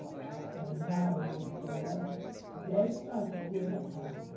ora olharam no relógio, dez para as duas da tarde.